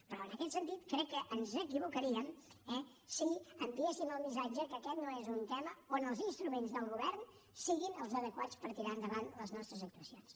però en aquest sentit crec que ens equivocaríem eh si enviéssim el missatge que aquest no és un tema on els instruments del govern siguin els adequats per tirar endavant les nostres actuacions